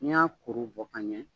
Ni n y'a kuru bɔ ka ɲɛ